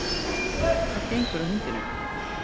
Hvað gengur að hundinum?